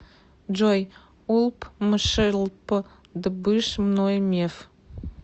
джой улпмшлп дбыш ное меф